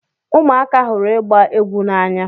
Ụmụaka hụrụ ịgba egwu n'anya.